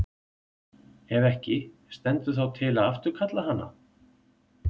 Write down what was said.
Ef ekki, stendur þá til að afturkalla hana?